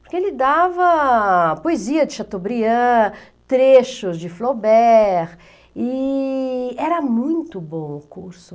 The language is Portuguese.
Porque ele dava poesia de Chateaubriand, trechos de Flaubert, e era muito bom o curso.